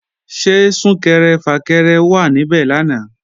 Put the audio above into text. Ṣé Sún-kẹrẹ-fà-kẹrẹ wà níbẹ̀ lánàá?